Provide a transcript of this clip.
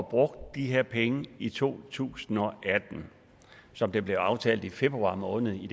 brugt de her penge i to tusind og atten som det blev aftalt i februar måned i